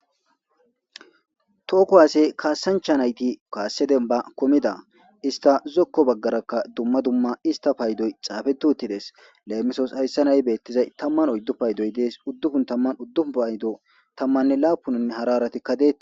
Toho kuhaasey kaasancha nayti kaasseden ba komida ista zokko baggarakka dumma dumma ista paydoy xaafetu uttides leemisos hayssa nay beettizay tamman oyddu paydoy dees uddufun tamman uddufu paydo tammanne laapunanne hararatikkade.